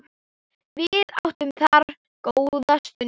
Við áttum þar góða stund.